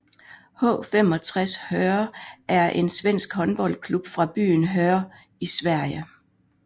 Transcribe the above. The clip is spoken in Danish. H 65 Höör er en svensk håndboldklub fra byen Höör i Sverige